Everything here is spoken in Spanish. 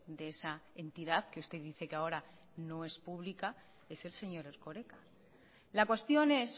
de esa entidad que usted dice que ahora no es pública es el señor erkoreka la cuestión es